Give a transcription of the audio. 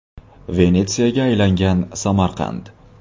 Venetsiyaga aylangan Samarqand.